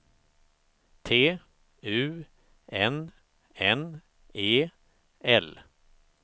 T U N N E L